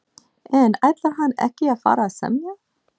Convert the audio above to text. En ætlar hann ekki að fara að semja?